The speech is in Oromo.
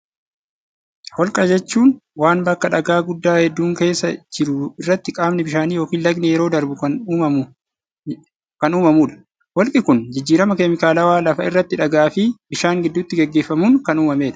Holqa jechuun waan bakka dhagaa guddaa hedduun keessa jiru irratti qaamni bishaanii yokin lagni yeroo darbu kan uumamuu dha. Holqi kun jijjirama keemikaalawaa lafa irratti dhagaa fi bishaan gidduutti gaggeeffamuun kan uumamee dha.